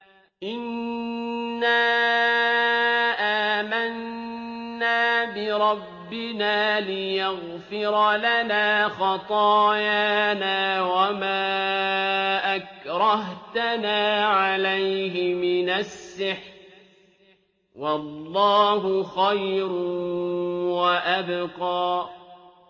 إِنَّا آمَنَّا بِرَبِّنَا لِيَغْفِرَ لَنَا خَطَايَانَا وَمَا أَكْرَهْتَنَا عَلَيْهِ مِنَ السِّحْرِ ۗ وَاللَّهُ خَيْرٌ وَأَبْقَىٰ